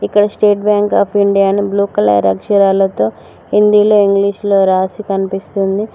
ఇక్కడ State Bank of India అని blue colour అక్షరాలతో హిందీ లో ఇంగ్లీషులో రాసి కనిపిస్తుంది.